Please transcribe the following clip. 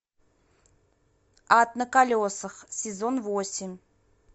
ад на колесах сезон восемь